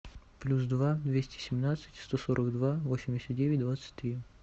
плюс два двести семнадцать сто сорок два восемьдесят девять двадцать три